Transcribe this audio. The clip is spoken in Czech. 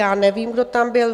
Já nevím, kdo tam byl.